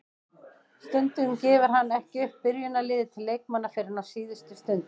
Stundum gefur hann ekki upp byrjunarliðið til leikmanna fyrr en á síðustu stundu.